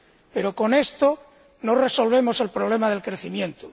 Pero con esto no resolvemos el problema del crecimiento.